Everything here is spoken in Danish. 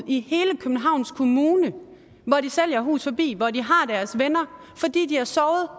i hele københavns kommune hvor de sælger hus forbi og hvor de har deres venner fordi de har sovet